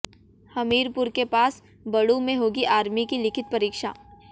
हमीरपुर के पास बड़ू में होगी आर्मी की लिखित परीक्षा